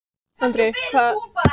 Andri, hvað er lengi opið í Blómaborg?